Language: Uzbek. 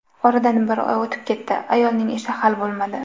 Oradan bir oy o‘tib ketdi: ayolning ishi hal bo‘lmadi.